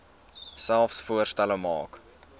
selfs voorstelle maak